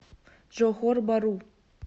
джохор бару